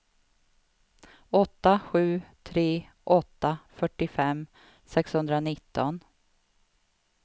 åtta sju tre åtta fyrtiofem sexhundranitton